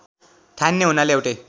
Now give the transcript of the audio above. ठानिने हुनाले एउटै